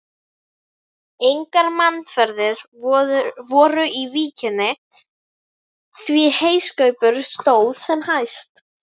Engar mannaferðir voru í víkinni, því heyskapur stóð sem hæst.